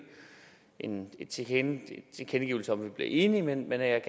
en en tilkendegivelse om at vi bliver enige men at jeg